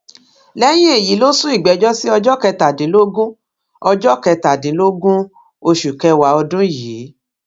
lẹyìn èyí ló sún ìgbẹjọ sí ọjọ kẹtàdínlógún ọjọ kẹtàdínlógún oṣù kẹwàá ọdún yìí